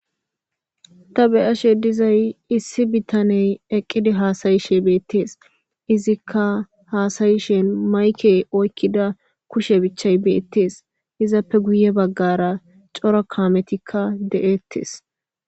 ta beyashe dizay issi bittaney eqqidi Haasayishe beettees izikka haasayishen mayke oykkida kushe bichchay beettes izappe guye baggara cora kaametikka de7ettes.